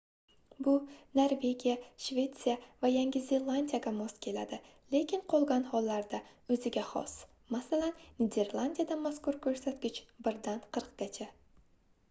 bu norvegiya shvetsiya va yangi zelandiyaga mos keladi lekin qolgan hollarda o'ziga xos masalan niderlandiyada mazkur ko'rsatkich birdan qirqqacha